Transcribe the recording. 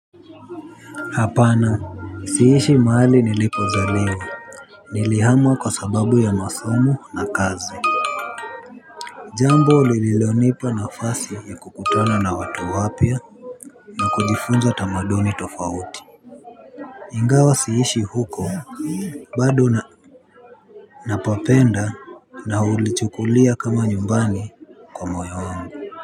Hapana siishi mahali nilipozaliwa. Nilihama kwa sababu ya masomo na kazi. Jambo lililonipa nafasi ya kukutana na watu wapya na kujifunza tamaduni tofauti ingawa siishi huko bado napapenda na hulichukulia kama nyumbani kwa moyo wangu.